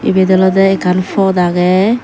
ebet olodey ekkan pod agey.